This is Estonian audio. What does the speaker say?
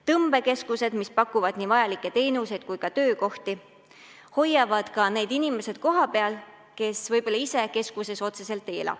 Tõmbekeskused, mis pakuvad nii vajalikke teenuseid kui ka töökohti, hoiavad kohapeal ka need inimesed, kes võib-olla otseselt keskuses ei ela.